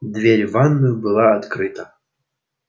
дверь в ванную была открыта